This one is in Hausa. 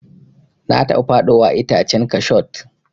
Na taba faɗowa a itacen kashot.